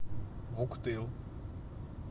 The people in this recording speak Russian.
вуктыл